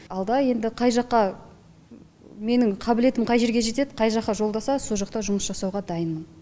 алда енді қай жаққа менің қабілетім қай жерге жетеді қай жаққа жолдаса сол жақта жұмыс жасауға дайынмын